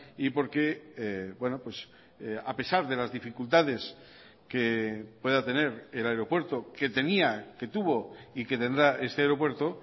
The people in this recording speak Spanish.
y porque a pesar de las dificultades que pueda tener el aeropuerto que tenía que tuvo y que tendrá este aeropuerto